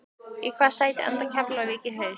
Í hvaða sæti endar Keflavík í haust?